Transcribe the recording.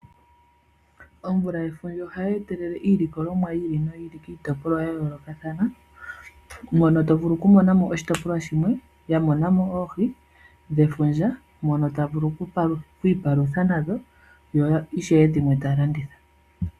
Omvula yefundja oha yi etelele iilikolomwa yi ili noyi ili kiitopolwa ya yoolokathana mono tovulu okumonamo oshitopolwa shimwe ya monamo oohi dhefundja mono ta vulu okwiipalutha nadho, yo ishewe dhimwe ta ya landitha.